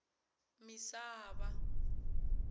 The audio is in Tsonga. misava